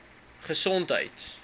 gesondheid